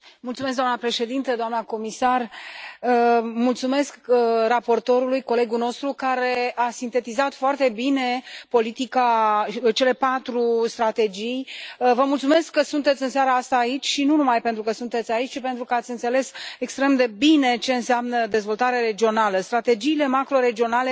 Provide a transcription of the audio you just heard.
Doamnă președintă, doamnă comisar, mulțumesc raportorului, colegul nostru, care a sintetizat foarte bine cele patru strategii. Vă mulțumesc că sunteți în seara asta aici și, nu numai pentru că sunteți aici, ci și pentru că ați înțeles extrem de bine ce înseamnă dezvoltare regională și pentru